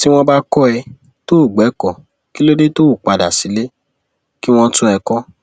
tí wọn bá kọ ẹ tó o o gbẹkọ kí ló dé tó o padà sílé kí wọn tún ẹ kọ